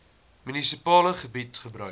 munisipale gebied gebruik